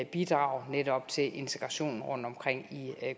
bidrage netop til integrationen rundtomkring i